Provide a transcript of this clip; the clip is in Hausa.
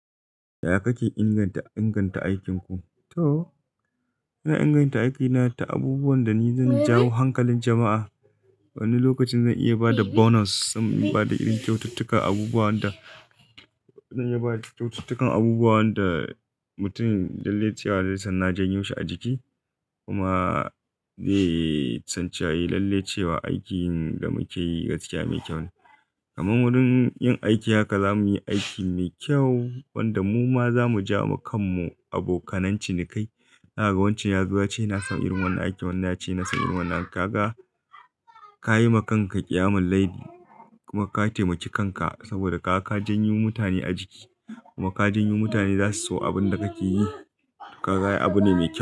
Yaya kake inganta aikin ku? To, ina inganta aikina ta abubuwan da ni zan jawo hankalin jama'a. Wani lokacin zan iya ba da bonus, zan iya ba da irin kyaututtukan abubuwan da mutum lalle cewa zai san na janyo shi a jiki kuma zai san cewa a lalle cewa aikin da muke yi gaskiya mai kyau ne. Kaman wurin yin aiki haka zamuyi aiki mai kyau wanda muma zamu jawowa kanmu abokanan ciniki. Na ga wancan yazo yace ina son irin wannan aikin wannan yace ina son irin wannan. Ka ga, ka yi ma kanka kiyamal laili kuma ka taimaki kanka saboda ka ka janyo mutane a jiki kuma ka janyo mutane zasu so abin da kake yi. Ka ga ai abu ne mai kyau.